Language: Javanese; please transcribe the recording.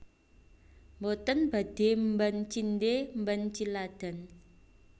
Mboten badhe mban cindhe mban ciladan